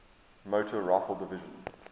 motor rifle division